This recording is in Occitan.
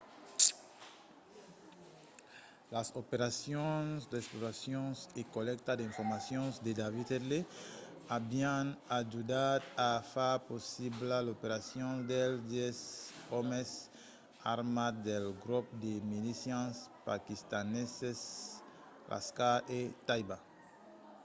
las operacions d'exploracion e collècta d'informacion de david headley avián ajudat a far possibla l'operacion dels 10 òmes armats del grop de milicians paquistaneses laskhar-e-taiba